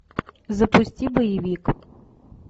запусти боевик